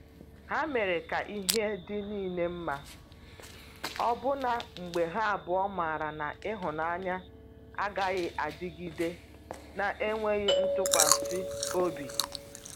Ha mere ka ihe dị niile mma, ọbụna mgbe ha abụọ maara na ịhụnanya agaghị adịgide na-enweghị ntụkwasị obi.